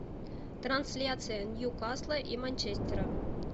трансляция ньюкасла и манчестера